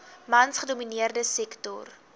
mans gedomineerde sektor